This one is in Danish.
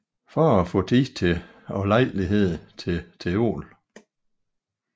For at faa Tid og Lejlighed til teol